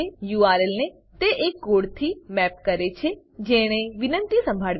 URL URL ને તે એ કોડથી મેપ કરે છે જેણે વિનંતિ સંભાળવી છે